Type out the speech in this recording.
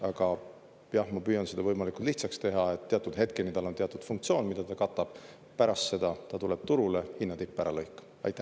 Aga, jah, ma püüan seda võimalikult lihtsaks teha: teatud hetkeni tal on teatud funktsioon, mida ta katab, pärast seda ta tuleb turule hinna tippe ära lõikama.